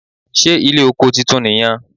Ṣé ilé oko titun nì yan